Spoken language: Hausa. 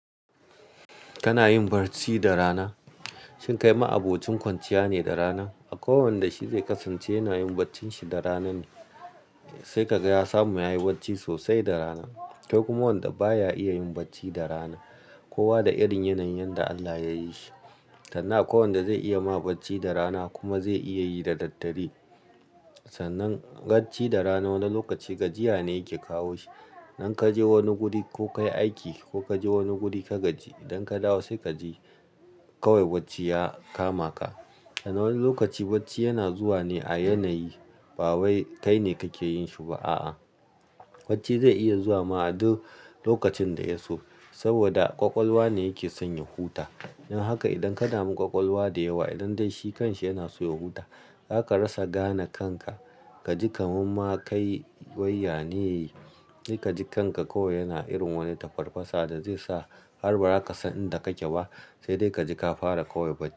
Kana yin barci da rana? Shin kai ma'abocin kwanciya ne da rana? A ko wanda shi zai kasance yana yin barcin shi da rana ne. Sai ka ga ya samu yayi barci sosai da rana. Kai kuma wanda baya iya yin barci da rana. Kowa da irin yanayin da Allah yayi shi. Tannan akwai wanda zai iya ma barci da rana kuma zai iya yi da daddare. Sannan barci da rana wani lokaci gajiya ne yake kawo shi. Nan kaje wani guri ko kayi aiki ko kaje wani guri ka gaji. Idan ka dawo sai kaji kawai barci ya kama ka. A na wani lokaci barci yana zuwa ne a yanayi ba wai kai ne kake yin shi ba a a. Barci zai iya zuwa ma a duk lokacin da ya so. Saboda ƙwaƙwalwa ne yake sanya huta. Don haka idan ka dami ƙwaƙwalwa da yawa idan dai shi kanshi yana so ya huta. Zaka rasa gane kanka. Ka ji kaman ma kai wai yane. Kai ka ji kanka kawai yana irin wani tafarfasa da zai sa har ba za ka san inda kake ba. Sai dai kaji ka fara kawai barci.